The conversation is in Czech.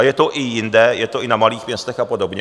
A je to i jinde, je to i na malých městech a podobně.